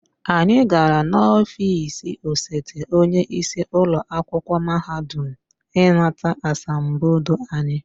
Anyị gara n'ọfịs osote onye isi ụlọ akwụkwọ mahadum ịnata asambodo anyị